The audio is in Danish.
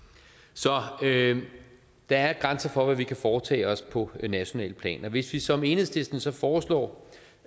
så der er grænser for hvad vi kan foretage os på nationalt plan og hvis vi som enhedslisten så foreslår